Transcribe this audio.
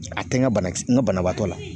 A tɛ n ka banakisɛ n ka banabaatɔ la.